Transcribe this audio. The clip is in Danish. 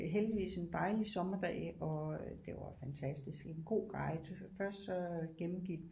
Heldigvis en dejlig sommerdag og det var fantastisk en god guide først så gennemgik